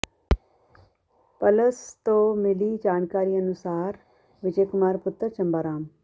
plus ਤੋਂ ਮਿਲੀ ਜਾਣਕਾਰੀ ਅਨੁਸਾਰ ਵਿਜੈ ਕੁਮਾਰ ਪੁੱਤਰ ਚੰਬਾ ਰਾਮ